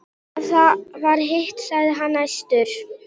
Ef það var hitt, sagði hann æstur: